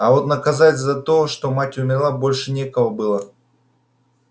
а вот наказать за то что мать умерла больше некого было